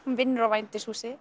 hún vinnur á